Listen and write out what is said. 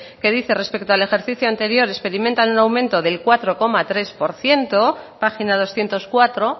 que dice respecto al ejercicio anterior experimentan un aumento del cuatro coma tres por ciento página doscientos cuatro